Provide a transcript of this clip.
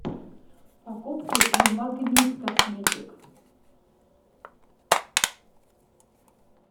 покупки в магнит косметик